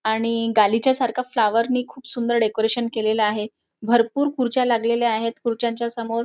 आणि गालीच्या सारखा फ्लॉवरनी खूप सुंदर असे डेकोरेशन केलेल आहे भरपूर खुर्च्या लागलेल्या आहेत आणि खुर्च्या समोर.